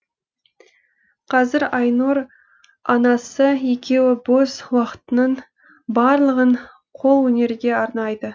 қазір айнұр анасы екеуі бос уақытының барлығын қолөнерге арнайды